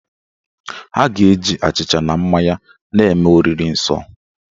Ha ga- eji achịcha na mmanya na-eme oriri nsọ